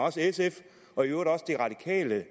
og sf og i øvrigt også de radikale